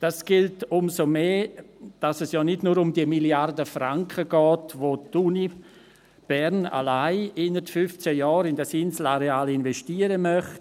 Dies gilt umso mehr, als dass es ja nicht nur um diese Milliarde Franken geht, welche die Uni Bern allein innert 15 Jahren in das Inselareal investieren möchte.